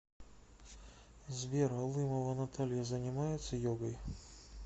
сбер алымова наталья занимается йогой